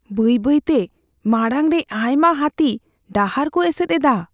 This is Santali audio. ᱵᱟᱹᱭ ᱵᱟᱹᱭᱛᱮ ᱾ ᱢᱟᱲᱟᱝ ᱨᱮ ᱟᱭᱢᱟ ᱦᱟᱹᱛᱤ ᱰᱟᱦᱟᱨ ᱠᱚ ᱮᱥᱮᱫ ᱮᱫᱟ ᱾